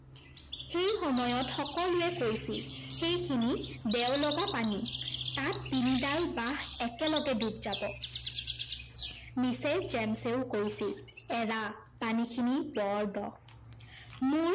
সেই সময়ত সকলোৱে কৈছিল, সেইখিনি দেও লগা পানী, তাত তিনfডাল বাঁহ একেলগে ডুব যাব। mrs. জেমছেও কৈছিল, এৰা পানীখিনি বৰ দ মোৰ